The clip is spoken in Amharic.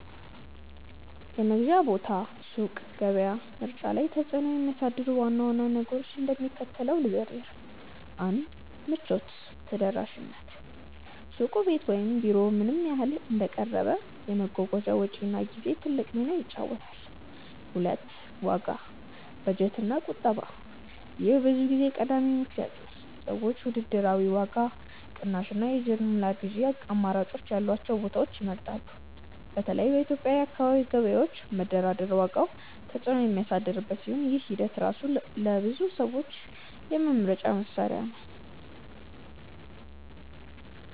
የመግዣ ቦታ (ሱቅ፣ ገበያ) ምርጫ ላይ ተጽዕኖ የሚያሳድሩ ዋና ዋና ነገሮችን እንደሚከተለው ልዘርዝር፦ 1. ምቾት ( ተደራሽነት):-ሱቁ ቤት ወይም ቢሮ ምን ያህል እንደቀረበ፣ የመጓጓዣ ወጪና ጊዜ ትልቅ ሚና ይጫወታል። 2. ዋጋ (በጀት እና ቁጠባ) :-ይህ ብዙ ጊዜ ቀዳሚው ምክንያት ነው። ሰዎች ውድድራዊ ዋጋ፣ ቅናሽ እና የጅምላ ግዢ አማራጮች ያሏቸውን ቦታዎች ይመርጣሉ። በተለይ በኢትዮጵያ የአካባቢ ገበያዎች መደራደር ዋጋውን ተጽዕኖ የሚያሳድርበት ሲሆን፣ ይህ ሂደት ራሱ ለብዙ ሰዎች የመምረጫ መስሪያ ነው።